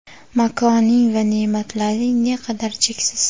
Makoning va ne’matlaring ne qadar cheksiz.